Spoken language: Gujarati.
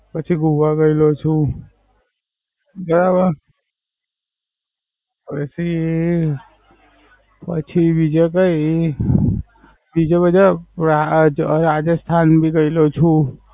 પછી ગોવા ગયેલો છું. બરાબર. પછી, પછી બીજે કઈ બીજા બધા હવે આ રાજસ્થાન ગયેલો છું